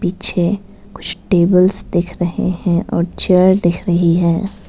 पीछे कुछ टेबल्स दिख रहे हैं और चेयर दिख रही है।